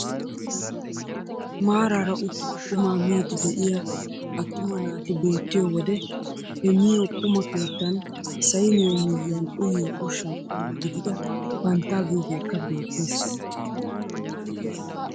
Maarara uttidi qumaa miidi de'iyaa attuma naati beettiyoo wode he miyoo quma keettan sayniyaa miyiyaan uyiyoo ushshaa qommo gidida panttaa giyoogekka beettes.